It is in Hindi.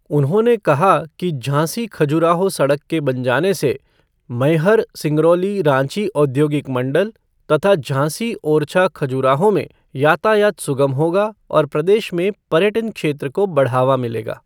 उन्होंने कहा कि झांसी खजुराहो सड़क के बन जाने से मैहर सिंगरौली रांची औद्योगिक मंडल तथा झांसी ओरछा खजुराहो में यातायात सुगम होगा और प्रदेश में पर्यटन क्षेत्र को बढ़ावा मिलेगा।